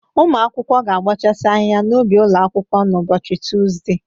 Ụmụ akwụkwọ ga-abọchasị ahịha n'ubi ụlọ akwụkwọ n'ụbọchị Tọzde.